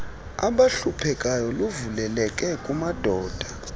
abahluphekayo luvuleleke kumadoda